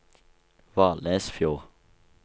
Valnesfjord